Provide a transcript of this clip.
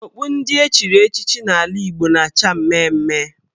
Okpu ndị echiri echichi n' ala Igbo na-acha mmee mmee.